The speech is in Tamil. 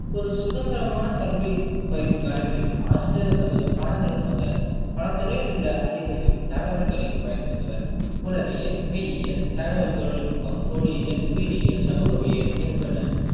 ஒரு சுதந்திரமான கல்வி பயிற்~ மரபில் ஆசிரியர்கள் தமது பாடங்களுக்காக பல துறையில் உள்ள அறிவையும் தகவல்களையும் பயன்படுத்துவர் உளவியல், மெய்யியல், தகவல் தொழில்நுட்பம், மொழியியல், உயிரியல், சமூகவியல் என்பன